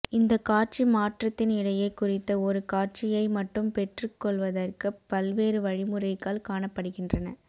இந்த காட்சி மாற்றத்தின் இடையே குறித்த ஒரு காட்சியை மட்டும் பெற்றுக்கொள்வதற்கு பல்வேறு வழிமுறைகள் காணப்படுகின்ற